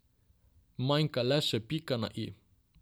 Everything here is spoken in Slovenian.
Manjka le še pika na i.